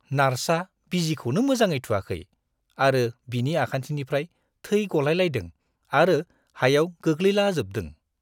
नार्सआ बिजिखौनो मोजाङै थुवाखै आरो बिनि आखान्थिनिफ्राय थै गलायलायदों आरो हायाव गोग्लैलाजोबदों।